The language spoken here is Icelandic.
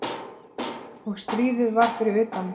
Og stríðið var fyrir utan.